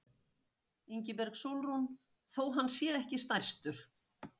Ingibjörg Sólrún: Þó hann sé ekki stærstur?